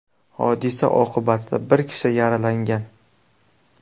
Hodisa oqibatida bir kishi yaralangan.